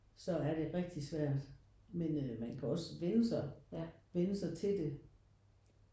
Så er det rigtig svært men øh man kan også vende sig vende sig til det